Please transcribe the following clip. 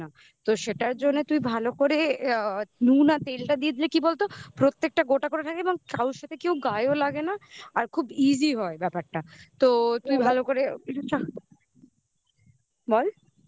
তো সেটার জন্য তুই ভালো করে অ্যা নুন আর তেলটা দিয়ে দিলে কি বলত প্রত্যেকটা গোটা করে থাকে এবং কারোর সাথে কেউ গায়েও লাগে না আর খুব easy হয় ব্যাপারটা তুই ভালো করে বল